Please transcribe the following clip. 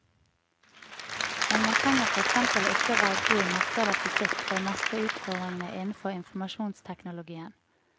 Men man trenger for eksempel ikke å være god i matte eller fysikk for å mestre utfordringene innenfor informasjonsteknologien.